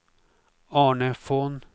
Arne Von